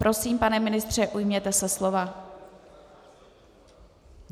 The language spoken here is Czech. Prosím, pane ministře, ujměte se slova.